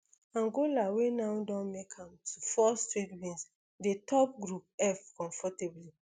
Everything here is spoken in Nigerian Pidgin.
angola wey now don make am to four straight wins dey top group f comfortably